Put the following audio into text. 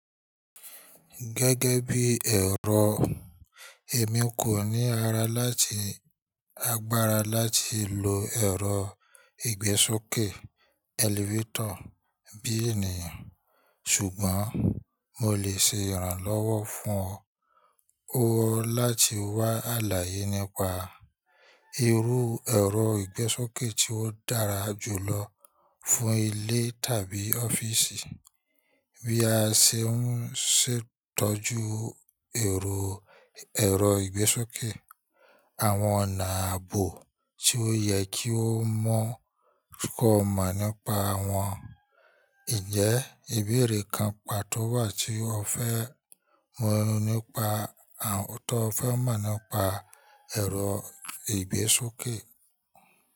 Gẹ́gẹ́ bíi ẹ̀rọ, èmi kò ní ara láti agbára láti lo ẹ̀rọ ìgbésókè elevator bí ènìyàn, ṣùgbọ́n mo lè ṣe ìrànlọ́wọ́ fún ọ láti wá àlàyé nípa irú ẹ̀rọ ìgbésókè tí ó dára jù lọ fún ilé tàbí ọ́fíìsì, bí a ṣe ń ṣètọ́jú ẹ̀rọ ẹ̀rọ ìgbésókè, àwọn ọ̀nà ààbò tí ó yẹ kí o mọ̀ kọ̀ má nípa wọn. Ǹjẹ́ ìbéèrè kan pàtó wà tí ó fẹ́ mọ̀ nípa ẹ̀rọ ìgbésókè?